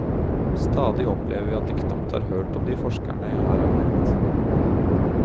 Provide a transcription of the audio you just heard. Stadig opplever vi at de knapt har hørt om de forskerne jeg her har nevnt.